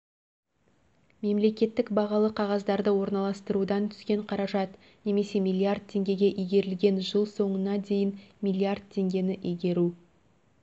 мемлекеттік бағалы қағаздарды орналастырудан түскен қаражат немесе миллиард теңгеге игерілген жыл соңына дейін миллиард теңгені игеру